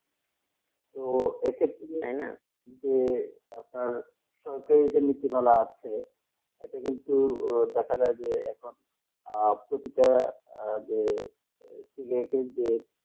তো এক্ষেত্রে যে সরকারের নীতিমালা আছে, এটা কিন্তু দেখা যায় যে আর প্রতিটা যে তুলে ফেলবে